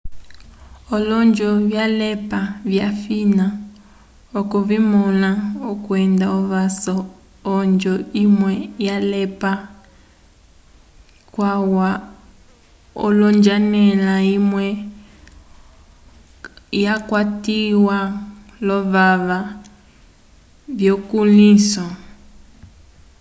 olonjo vyalepa vyafina okuvimõla kwenda ovaso yonjo imwe yalepa calwa l'onjanela imwe yakwatiwa lovaka vyukulĩhiso